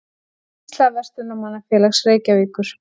Skýrsla Verslunarmannafélags Reykjavíkur